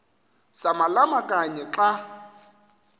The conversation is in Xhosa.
samalama kanye xa